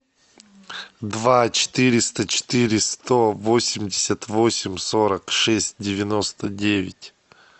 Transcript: два четыреста четыре сто восемьдесят восемь сорок шесть девяносто девять